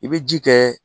I bɛ ji kɛ